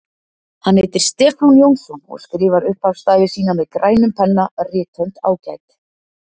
Hann heitir Stefán Jónsson og skrifar upphafsstafi sína með grænum penna, rithönd ágæt.